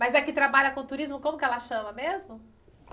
Mas a que trabalha com turismo, como é que ela chama mesmo?